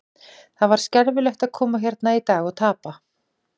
Það var skelfilegt að koma hérna í dag og tapa.